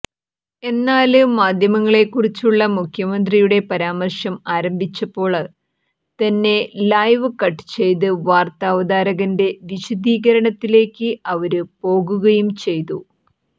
എന്നാല് മാധ്യമങ്ങളെക്കുറിച്ചുള്ള മുഖ്യമന്ത്രിയുടെ പരാമര്ശം ആരംഭിച്ചപ്പോള് തന്നെ ലൈവ് കട്ട് ചെയ്ത് വാര്ത്ത അവതാരകന്റെ വിശദീകരണത്തിലേക്ക് അവര് പോകുകയും ചെയ്തു